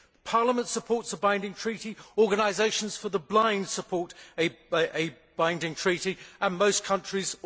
Parliament supports a binding treaty, organisations for the blind support a binding treaty, as do most countries.